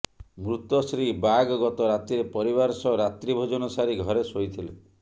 ମୃତ ଶ୍ରୀ ବାଗ ଗତ ରାତିରେ ପରିବାର ସହ ରାତ୍ରି ଭୋଜନ ସାରି ଘରେ ଶୋଇଥିଲେ